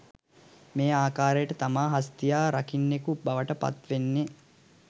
මේ ආකාරයට තමා හස්තියා රකින්නෙකු බවට පත්වෙන්නේ